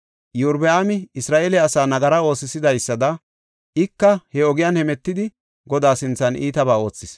Iyorbaami Isra7eele asaa nagara oosisidaysada ika he ogiyan hemetidi Godaa sinthan iitabaa oothis.